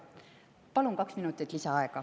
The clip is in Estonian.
Palun kaks minutit lisaaega.